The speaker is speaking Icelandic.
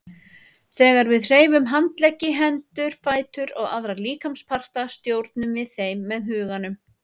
Þegar við hreyfum handleggi, hendur, fætur og aðra líkamsparta stjórnum við þeim með huganum.